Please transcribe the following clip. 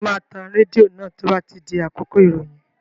Ṣé o máa tan rédíò náà tí ó bá di àkókò ìròyìn?